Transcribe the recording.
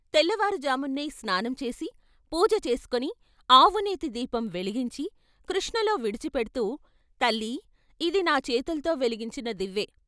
తెల్లవారు జామునే స్నానంచేసి పూజ చేసుకుని ఆవునేతి దీపం వెలిగించి కృష్ణలో విడిచిపెడ్తూ " తల్లీ ఇది నా చేతుల్తో వెలిగించిన దివ్వె.